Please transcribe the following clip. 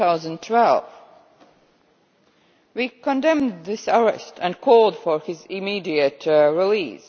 2012. We condemned this arrest and called for his immediate release.